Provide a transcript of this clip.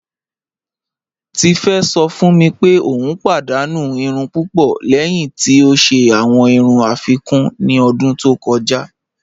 Tífé sọ̀ fún mí pé o padànú ìrùn púpọ̀ lẹ́hìn tí o ṣẹ̀ awọn ìrùn afíkún ní ọ̀dún tó kọja.